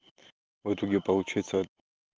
в итоге получится